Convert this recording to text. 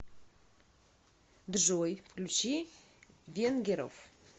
джой включи венгеров